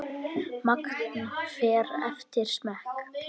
Magn fer eftir smekk.